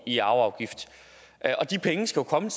i arveafgift de penge skal komme